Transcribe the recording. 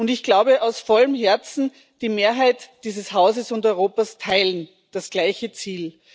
Ich glaube aus vollem Herzen Die Mehrheit dieses Hauses und Europas teilt das gleiche Ziel.